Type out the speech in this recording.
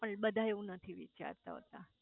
પણ બધા એવું નથી વિચારતા હોતા